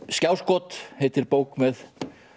skjáskot heitir bók með